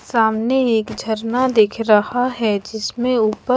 सामने एक झरना दिख रहा है जिसमे ऊपर--